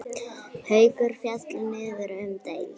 Haukar féllu niður um deild.